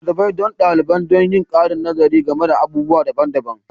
Littattafai don daliban don yin ƙarin nazari game da batutuwa daban-daban